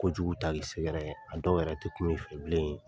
Ko jugu ta k'i sɛgɛrɛ , a dɔw yɛrɛ te kuma i fɛ bilen .